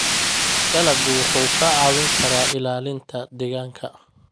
Dalaggu wuxuu kaa caawin karaa ilaalinta deegaanka.